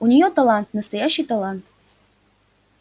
у неё талант настоящий талант